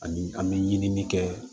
Ani an bɛ ɲinili kɛ